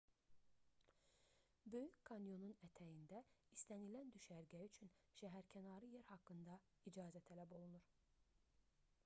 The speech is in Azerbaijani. böyük kanyonun ətəyində istənilən düşərgə üçün şəhərkənarı yer haqqında icazə tələb olunur